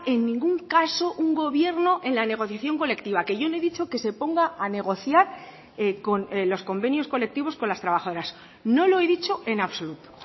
en ningún caso un gobierno en la negociación colectiva que yo no he dicho que se ponga a negociar con los convenios colectivos con las trabajadoras no lo he dicho en absoluto